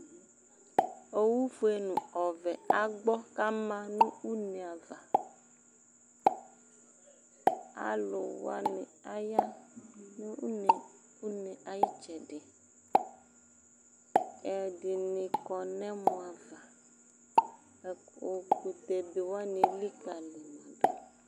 Owu fue nʋ ɔvɛ agbɔ k'ama nʋ une ava Alʋwani aya nʋ une, une ayitsɛdiƐdini kɔ nʋ ɛmɔ ava Ɛkʋtɛbe wani elikali yidʋ